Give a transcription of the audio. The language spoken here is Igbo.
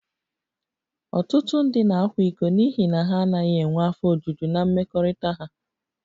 Ọtụtụ ndị na-akwa iko n'ihi na ha anaghị enwe afọ ojuju na mmekọrịta ha